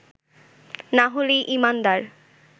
না হলে ঈমানদার